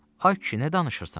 Ay kişi, nə danışırsan?